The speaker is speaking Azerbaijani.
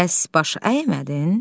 Bəs baş əymədin?